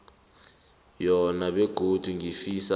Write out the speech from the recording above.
yona begodu ngifisa